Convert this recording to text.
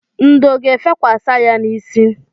Ndò ga-efekwasi ya n'isi.